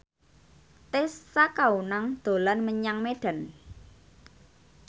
Tessa Kaunang dolan menyang Medan